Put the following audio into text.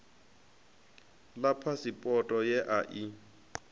ḽa phasipoto ye a i